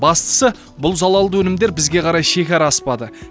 бастысы бұл залалды өнімдер бізге қарай шекара аспады